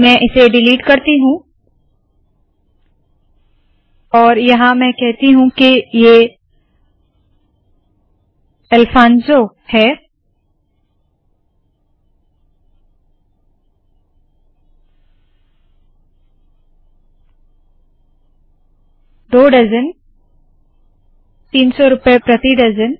मैं इसे डिलीट करती हूँ और यहाँ मैं कहती हूँ के ये अलफानसो है 2 डज़न 300 रुपए प्रति डज़न